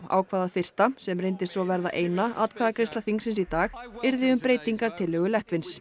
ákvað að fyrsta sem reyndist svo verða eina atkvæðagreiðsla þingsins í dag yrði um breytingartillögu